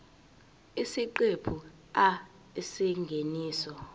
isiqephu a isingeniso